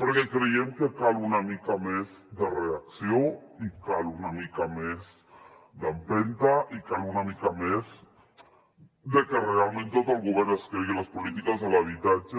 perquè creiem que cal una mica més de reacció i cal una mica més d’empenta i cal una mica més de que realment tot el govern es cregui les polítiques d’habitatge